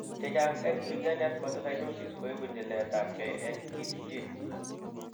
Chechang en cutaneous mastocytosis koibu nyiletabgei en KIT gene